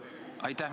Aitäh!